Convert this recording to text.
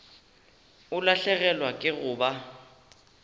o lahlegelwa ke go ba